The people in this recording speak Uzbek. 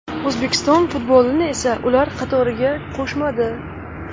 O‘zbekiston futbolini esa ular qatoriga qo‘shmadi.